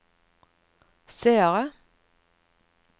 seere